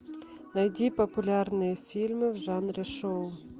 найди популярные фильмы в жанре шоу